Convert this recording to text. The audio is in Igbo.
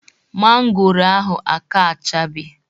Mangoro ahụ aka achabe